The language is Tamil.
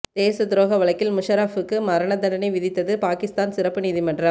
தேசத் துரோக வழக்கில் முஷாரஃபுக்கு மரண தண்டனை விதித்தது பாகிஸ்தான் சிறப்பு நீதிமன்றம்